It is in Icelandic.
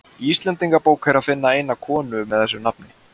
í íslendingabók er að finna eina konu með þessu nafni